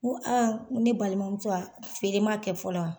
N ko a nn ko ne balimamuso feere man kɛ fɔlɔ wa?